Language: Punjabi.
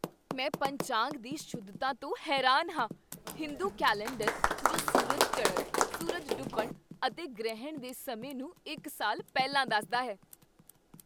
ਮੈਂ ਪੰਚਾਂਗ ਦੀ ਸ਼ੁੱਧਤਾ ਤੋਂ ਹੈਰਾਨ ਹਾਂ, ਹਿੰਦੂ ਕੈਲੰਡਰ ਜੋ ਸੂਰਜ ਚੜ੍ਹਨ, ਸੂਰਜ ਡੁੱਬਣ ਅਤੇ ਗ੍ਰਹਿਣ ਦੇ ਸਮੇਂ ਨੂੰ ਇੱਕ ਸਾਲ ਪਹਿਲਾਂ ਦੱਸਦਾ ਹੈ।